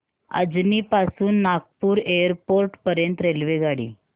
अजनी पासून नागपूर एअरपोर्ट पर्यंत रेल्वेगाडी